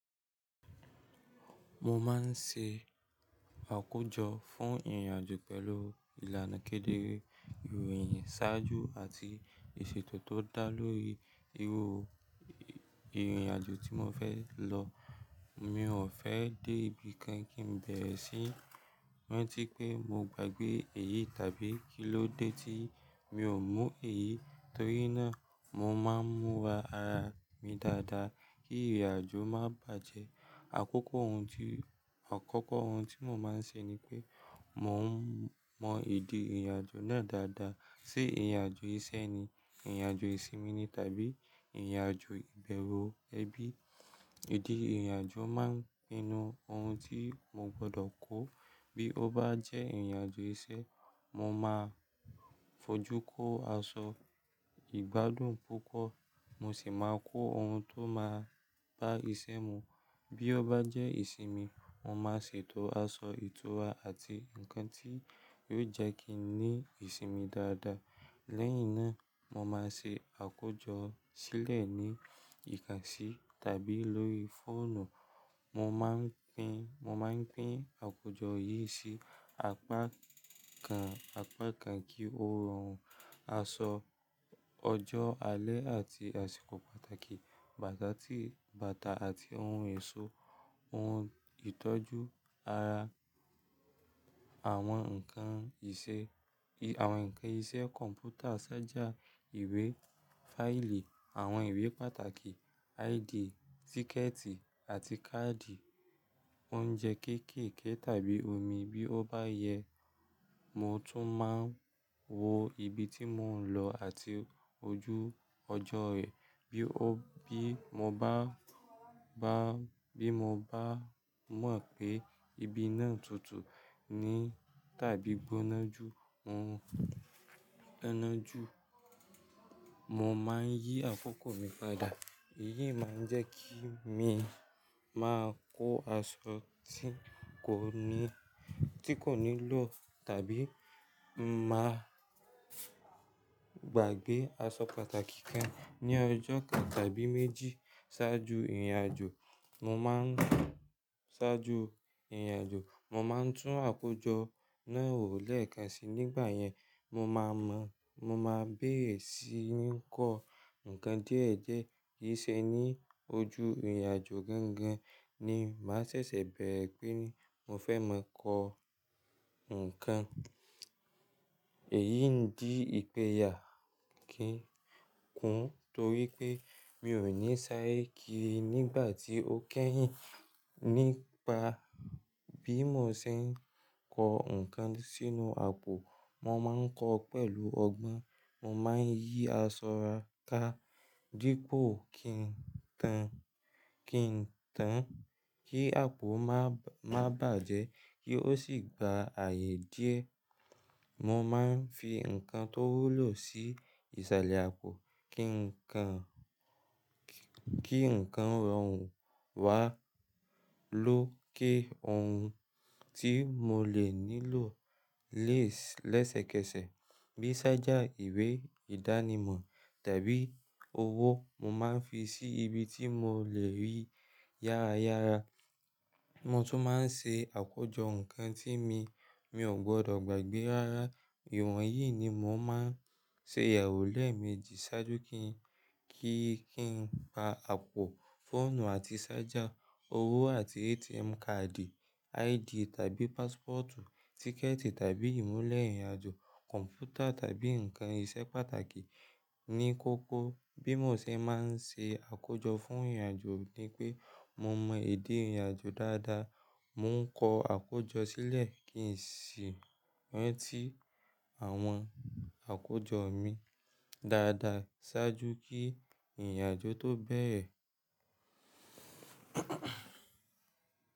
Mo máa ń ṣe àkójọ fún ìrìnàjò pẹ̀lú ìlànà kédere, ìròyìn ṣáájú àti ìṣètò tó dá lórí irú ìrìnàjò tí mo fẹ́ lọ. Mi ò fẹ́ dé ibi kan kí n bẹ̀rẹ̀ sí n rántí pé mo gbàgbé èyí tàbí kí ló dé tí mi ò mú èyí, torí náà mo máa ń múra ara mi dáadáa kí ìrìnàjò má bàjẹ́. Àkókò ohun tí, àkókò ohun tí mo máa ń ṣe ni pé mò ń mọ ìdí ìrìnàjò náà dáadáa. Sé ìrìnàjò iṣẹ́ ni, ìrìnàjò ìsinmi ni tàbí ìrìnàjò pulù ẹbí. Ìdí ìrìnàjò máa ń pinnu ohun tí mo gbọdọ̀ kó. Bí ó bá jẹ́ ìrìnàjò iṣẹ́, mo máa fojú kó aṣọ ìgbádùn púpọ̀, mo sì máa kó ohun tó máa bá isẹ́ mu. Bí ó bá jẹ́ ìsinmi, mo máa ṣètò aṣọ ìtura àti nǹkan tí yóò jẹ́ kí n ní ìsinmi dáadáa. Lẹ́yìn náà, mo máa ṣe àkójọ sílẹ̀ ní ìkàsí tàbí lórí fóònù. Mo máa ń pín, mo máa ń pín àkójọ yìí sí àpá kan, àpá kan kí ó rọrùn. Aṣọ, ọjọ́, alẹ́ àti àsìkò pàtàkì, bàtà tí, bàtà àti ohun ẹ̀so, ohun ìtọ́jú ara, àwọn ǹkan ìṣe, àwọn ǹkan iṣẹ́ kọ̀m̀pútà ṣájà ìwé, fáìlì, àwọn ìwé pàtàkì, ID, tíkẹ̀ẹ̀tì àti káàdì, oúnjẹ kéékèèké tàbí omi bí ó bá yẹ. Mo tún máa ń wo ibi tí mò ń lọ àti ojú ọjọ́ rẹ̀. Bí ó, bí mo bá, bá, bí mo bá mọ̀ pé ibi náà tutù ní tàbí gbónájú, mo gbónájú, mo máa ń yí àkókò mi padà. Èyí máa ń jẹ́ kí mi máa kó aṣọ tí kò ní, tí kò nílò tàbí máa gbàgbé aṣọ pàtàkì kan ní ọjọ́ kan tàbí méjì ṣáájú ìrìnàjò. Mo máa ń, ṣáájú ìrìnàjò, mo máa ń tún àkójọ náà wò lẹ́ẹ̀kan si. Nígbà yẹn, mo máa mọ̀, mo máa bẹ̀rẹ̀ sí ní kọ́ ǹkan díẹ̀ díẹ̀. Yí ṣẹ ní ojo ìrìnàjò gángan ni màá ṣẹ̀ṣẹ̀ bẹ̀rẹ̀ pé ni mo fẹ́ máa kọ́ ǹkan. Èyí ń dí ìpè yà kí ń kún torí pé mi ò ní sáré kiri nígbà tí ó kẹ́yìn. Nípa bí mo ṣe ń kọ́ ǹkan sínú àpò, mo máa ń kọ́ ọ pẹ̀lú ọgbọ́n. Mo máa ń yí aṣọ ra ká dípò kí n tán, kí n tán kí àpò má, má bàjẹ́ kí ó sì gba ààyè díẹ̀. Mo máa ń fi ǹkan tó wúlò sí ìsàlẹ̀ àpò kí ǹkan, kí ǹkan rọrùn wá lò ó ké ohun tí mo lè nílò lẹ́sẹ̀kẹsẹ̀ bíi ṣájà ìwé ìdánimọ̀ tàbí owó mo máa ń fi sí ibi tí mo lè rí yára yára. Mo tún máa ń ṣe àkójọ ǹkan tí mi, mi ò gbọdọ̀ gbàgbé rárá. Ìwọ̀n yìí ni mò ń ṣe ìyàwó lẹ́ẹ̀méjì ṣáájú kí n, kí, kí n pa àpò fóònù àti ṣájà, owó àti ATM kaàdì ID tàbí pàsípọ́ọtù, tíkẹ̀ẹ̀tì tàbí ìmúlẹ̀ ìrìnàjò, kọ̀m̀pútà tàbí ǹkan iṣẹ́ pàtàkì ní kókó. Bí mo ṣe máa ń ṣe àkójọ fún ìrìnàjò ni pé mo mọ ìdí ìrìnàjò dáadáa, mò ń kọ àkójọ sílẹ̀ kí sì rántí àwọn àkójọ mi dáadáa ṣáájú kí ìrìnàjò tó bẹ̀rẹ̀.